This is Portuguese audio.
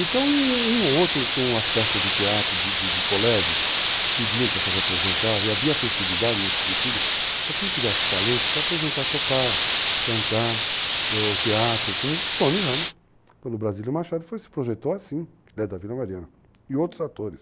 Então, um ou outro, com as peças de teatro de colégio, pediam para se representar, e havia festividade nesse sentido, para quem tivesse talento se apresentar a tocar, cantar, o teatro, como Tony Ramos, quando o Brasílio Machado se projetou assim, que é da Vila Mariana, e outros atores.